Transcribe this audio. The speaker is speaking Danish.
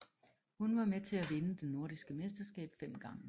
Hun var med til at vinde det nordiske mesterskab fem gange